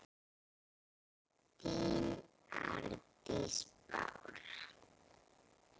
þín Arndís Bára.